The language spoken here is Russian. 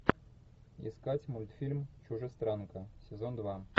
искать мультфильм чужестранка сезон два